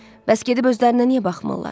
Bəs gedib özlərinə niyə baxmırlar?